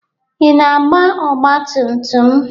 Ị na-agba ọgba tum tum?